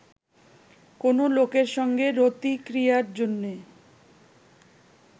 কোনো লোকের সঙ্গে রতিক্রিয়ার জন্যে